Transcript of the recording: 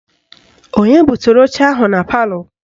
Onye butere oche ahụ na palọ?